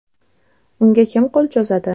Unga kim qo‘l cho‘zadi?.